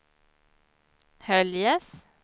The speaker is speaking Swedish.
Höljes